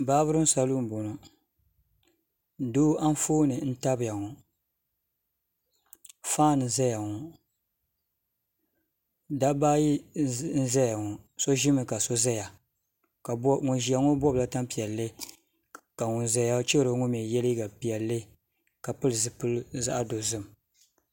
Baabirin salun ni n boŋo doo Anfooni n tabiya ŋo faan n ʒɛya ŋo dabba ayi n ʒɛya ŋo so ʒimi ka so ʒɛya ŋun ʒiya ŋo bobla tanpiɛlli ka ŋun ʒɛya chɛro ŋo mii yɛ liiga piɛlli ka pili zipili zaɣ dozim